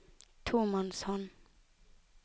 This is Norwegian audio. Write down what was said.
tomannshånd